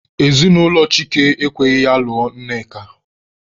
Ezinụlọ Chike ekweghị ya lụọ Nneka.